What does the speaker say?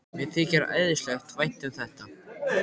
Mér þykir æðislega vænt um þetta.